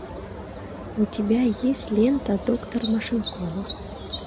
у тебя есть лента доктор машинкова